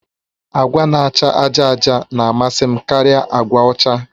Agwa na-acha àjà àjà na-amasị m karịa agwa ọcha